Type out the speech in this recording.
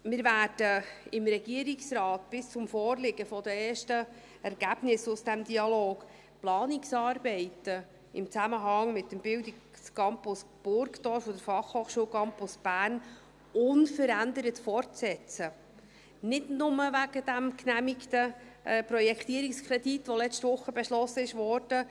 Wir werden im Regierungsrat bis zum Vorliegen der ersten Ergebnisse aus diesem Dialog die Planungsarbeiten in Zusammenhang mit dem Bildungscampus Burgdorf und der Fachhochschule Campus Bern unverändert fortsetzen, nicht nur wegen des genehmigten Projektierungskredits, der letzte Woche beschlossen wurde.